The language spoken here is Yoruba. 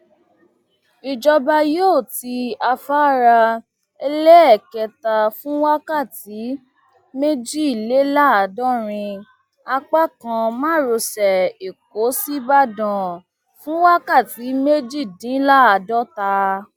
ìjọba yóò ti afárá ẹlẹẹkẹta fún wákàtí méjìléláàádọrin apá kan márosẹ ẹkọ ṣíbàdàn fún wákàtí méjìdínláàádọta